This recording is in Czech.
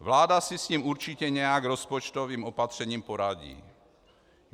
Vláda si s ním určitě nějak rozpočtovým opatřením poradí.